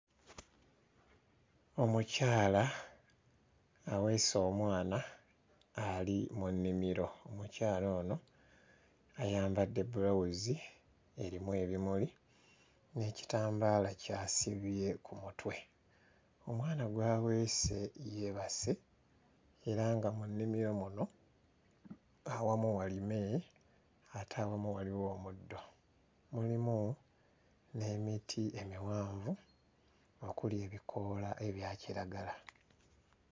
Omukyala aweese omwana ali mu nnimiro, omukyala ono ayambadde bbulawuzi erimu ebimuli n'ekitambaala ky'asibye ku mutwe, omwana gw'aweese yeebase era nga mu nnimiro muno, awamu walime ate awamu waliwo omuddo. Mulimu n'emiti emiwanvu okuli ebikoola ebya kiragala.